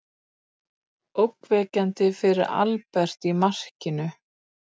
Óverjandi fyrir Albert í markinu.